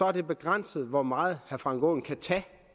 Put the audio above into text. er det begrænset hvor meget herre frank aaen kan tage